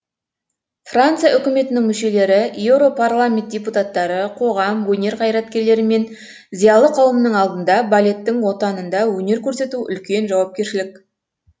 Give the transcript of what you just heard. франция үкіметінің мүшелері еуропарламент депутаттары қоғам өнер қайраткерлері мен зиялы қауымның алдында балеттің отанында өнер көрсету үлкен жауапкершілік